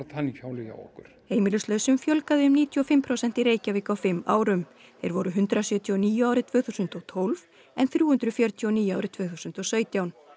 tannhjólið hjá okkur heimilislausum fjölgaði um níutíu og fimm prósent í Reykjavík á fimm árum þeir voru hundrað sjötíu og níu árið tvö þúsund og tólf en þrjú hundruð fjörutíu og níu árið tvö þúsund og sautján